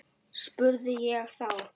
spurði ég þá.